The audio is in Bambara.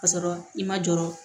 K'a sɔrɔ i ma jɔrɔ